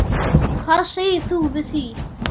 Hvað segir þú við því?